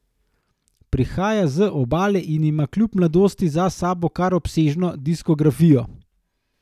Prihaja z Obale in ima kljub mladosti za sabo kar obsežno diskografijo.